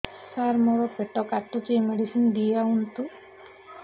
ସାର ମୋର ପେଟ କାଟୁଚି ମେଡିସିନ ଦିଆଉନ୍ତୁ